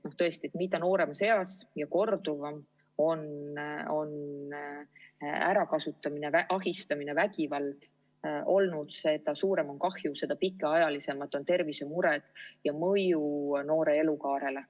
Tõesti, mida nooremas eas ja korduvam on ärakasutamine, ahistamine, vägivald olnud, seda suurem on kahju, seda pikaaegsemad on tervisemured ja mõju noore elukaarele.